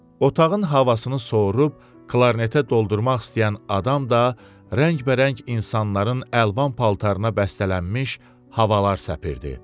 Otağın havasını sovurub, klarnetə doldurmaq istəyən adam da rəngbərəng insanların əlvan paltarına bəstələnmiş havalar səpirdi.